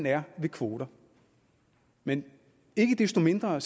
er ved kvoter men ikke desto mindre